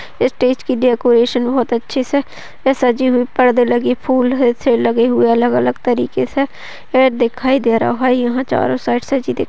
इस स्टेज की डेकोरेशन बहुत ही अच्छे से सजी हुई पड़दे लगे फूल लगे है अलग अलग तरीके से ये दिखाई दे रहा है। यहा चारो साइड से दिख --